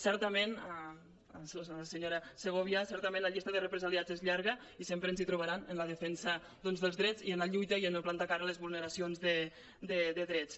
certament senyora segovia la llista de represaliats és llarga i sempre ens hi trobaran en la defensa dels drets i en la lluita i en plantar cara a les vulneracions de drets